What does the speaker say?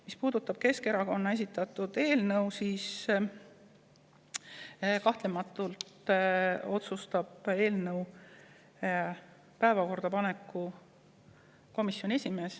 Mis puudutab Keskerakonna esitatud eelnõu, siis kahtlemata otsustab eelnõu päevakorda paneku komisjoni esimees.